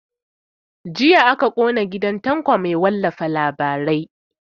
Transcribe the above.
Jiya aka kona gidan tanko mai talifin labarai